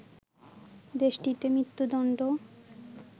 দেশটিতে মৃত্যুদণ্ড